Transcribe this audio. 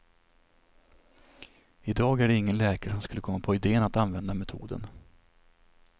I dag är det ingen läkare som skulle komma på idén att använda metoden.